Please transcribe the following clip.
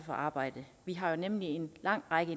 for arbejdet vi har nemlig en lang række